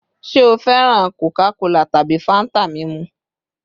Ṣe o fẹran Coca-Cola tabi Fanta mimu?